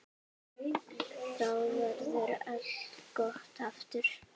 Þá verður allt gott aftur.